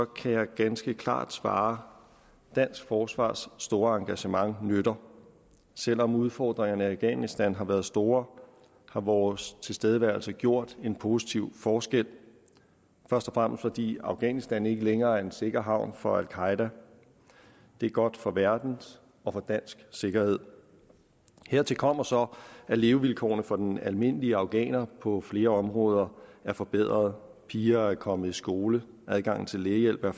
kan jeg ganske klart svare dansk forsvars store engagement nytter selv om udfordringerne i afghanistan har været store har vores tilstedeværelse gjort en positiv forskel først og fremmest fordi afghanistan ikke længere er en sikker havn for al qaeda det er godt for verdens og dansk sikkerhed hertil kommer så at levevilkårene for den almindelige afghaner på flere områder er forbedret piger er kommet i skole adgangen til lægehjælp er